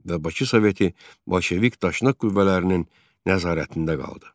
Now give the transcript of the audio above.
və Bakı Soveti bolşevik daşnaq qüvvələrinin nəzarətində qaldı.